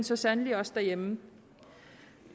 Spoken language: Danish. så sandelig også derhjemme